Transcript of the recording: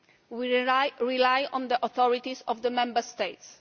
We rely on the authorities of the Member States.